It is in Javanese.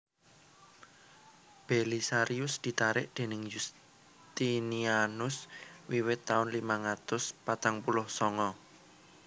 Belisarius ditarik déning Yustinianus wiwit taun limang atus patang puluh sanga